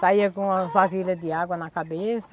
Saía com uma vasilha de água na cabeça.